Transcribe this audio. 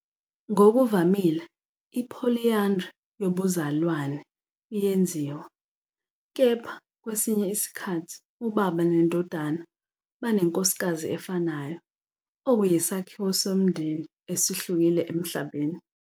Ngokuvamile, i-polyandry yobuzalwane iyenziwa, kepha kwesinye isikhathi ubaba nendodana banenkosikazi efanayo, okuyisakhiwo somndeni esihlukile emhlabeni.